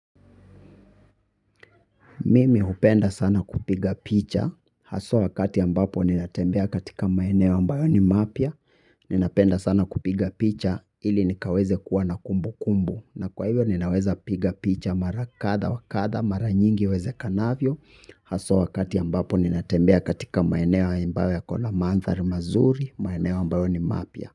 Mimi hupenda sana kupiga picha, haswa wakati ambapo ninatembea katika maeneo ambayo ni mapya, ninapenda sana kupiga picha, ili nikaweze kuwa na kumbukumbu, na kwa hivyo ninaweza piga picha mara katha wa katha, mara nyingi iwezekanavyo, haswa wakati ambapo ninatembea katika maeneo ambayo yako na mandhari mazuri, maeneo ambayo ni mapya.